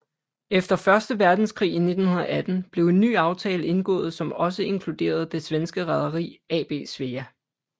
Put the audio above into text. Efter første verdenskrig i 1918 blev en ny aftale indgået som også inkluderede det svenske Rederi AB Svea